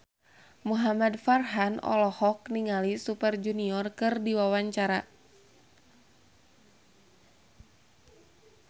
Muhamad Farhan olohok ningali Super Junior keur diwawancara